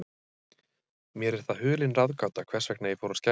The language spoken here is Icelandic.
Mér er það hulin ráðgáta, hvers vegna ég fór að skæla.